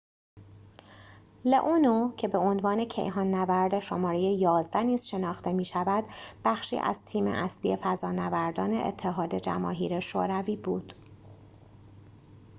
لئونوو که به عنوان کیهان نورد شماره ۱۱ نیز شناخته می شود بخشی از تیم اصلی فضانوردان اتحاد جماهیر شوروی بود